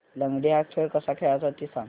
लंगडी हा खेळ कसा खेळाचा ते सांग